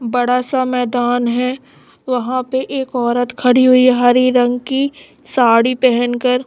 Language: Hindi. बड़ा सा मैदान है वहां पे एक औरत खड़ी हुई हरी रंग की साड़ी पहेनकर--